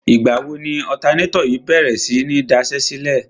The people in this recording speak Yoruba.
Ìgbà wo ni ọ̀tanátọ̀ yìí bèrè sí ní daṣẹ́sílẹ̀?